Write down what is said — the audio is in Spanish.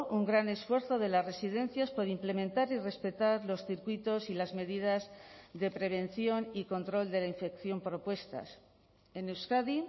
un gran esfuerzo de las residencias por implementar y respetar los circuitos y las medidas de prevención y control de la infección propuestas en euskadi